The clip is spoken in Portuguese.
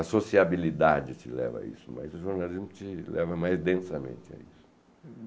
A sociabilidade te leva a isso, mas o jornalismo te leva mais densamente a isso.